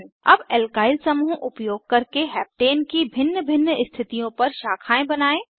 अब एल्काइल समूह उपयोग करके हेप्टेन की भिन्न भिन्न स्थितियों पर शाखाएं बनायें